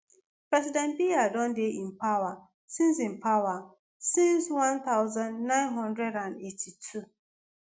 president biya don dey in power since in power since 1982.